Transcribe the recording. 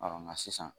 nka sisan